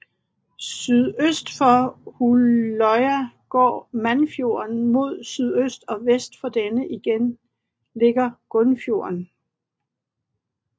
Sydøst for Hulløya går Mannfjorden mod sydøst og vest for denne igen ligger Grunnfjorden